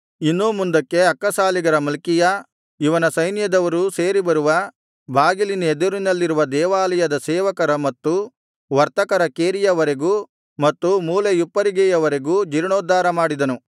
ಇನ್ನೂ ಮುಂದಕ್ಕೆ ಅಕ್ಕಸಾಲಿಗರ ಮಲ್ಕೀಯ ಇವನು ಸೈನ್ಯದವರು ಸೇರಿಬರುವ ಬಾಗಿಲಿನೆದುರಿನಲ್ಲಿರುವ ದೇವಾಲಯದ ಸೇವಕರ ಮತ್ತು ವರ್ತಕರ ಕೇರಿಯ ವರೆಗೂ ಮತ್ತು ಮೂಲೆಯುಪ್ಪರಿಗೆಯವರೆಗೂ ಜೀರ್ಣೋದ್ಧಾರ ಮಾಡಿದನು